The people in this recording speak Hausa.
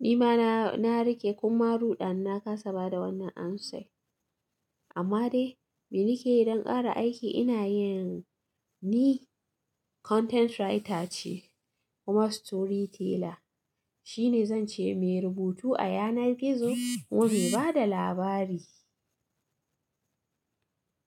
nima na, na riƙe kuma ruɗana na kasa ba da wannan answer. Amma dai, me nake yi don ƙara aiki? Ina yin, ni content writer ce kuma storyteller. Shine zan ce me rubutu a yanar gizo kuma me ba da labari.